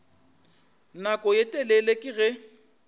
nako ye telele ke ge